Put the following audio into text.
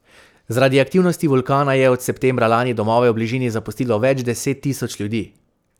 Zaradi aktivnosti vulkana je od septembra lani domove v bližini zapustilo več deset tisoč ljudi.